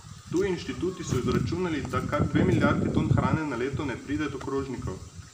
Tuji inštituti so izračunali, da kar dve milijardi ton hrane na leto ne pride do krožnikov.